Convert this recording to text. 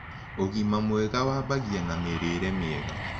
Ũgima mwega wambagĩa na mĩrĩĩre mĩega